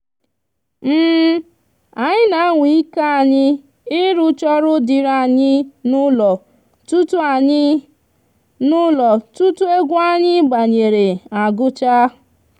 anyi n'anwa ike anyi irucha oru diri anyi n'ulo tutu anyi n'ulo tutu egwu anyi gbanyere agucha